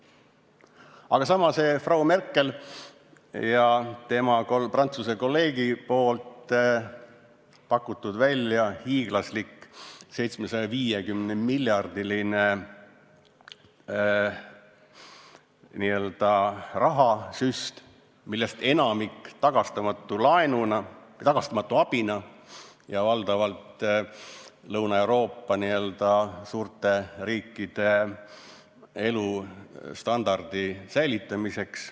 Aga samas on Frau Merkel ja tema Prantsuse kolleeg pakkunud välja hiiglasliku 750-miljardilise n-ö rahasüsti, millest enamik on tagastamatu laen, tagastamatu abi ja mõeldud valdavalt Lõuna-Euroopa n-ö suurte riikide elustandardi säilitamiseks.